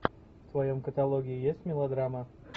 в твоем каталоге есть мелодрама